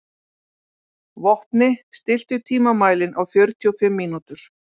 Vopni, stilltu tímamælinn á fjörutíu og fimm mínútur.